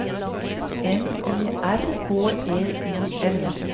N E R H E I M